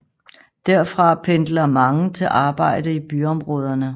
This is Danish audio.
Derfra pendler mange til arbejde i byområderne